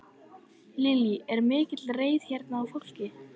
Lillý: Er mikil reiði hérna í fólki?